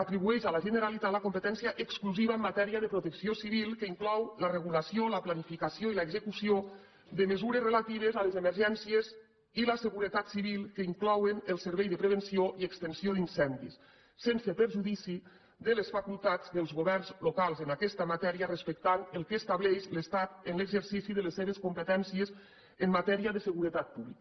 atribueix a la generalitat la competència exclusiva en matèria de protecció civil que inclou la regulació la planificació i l’execució de mesures relatives a les emergències i la seguretat civil que inclouen el servei de prevenció i extinció d’incendis sense perjudici de les facultats dels governs locals en aquesta matèria respectant el que estableix l’estat en l’exercici de les seves competències en matèria de seguretat pública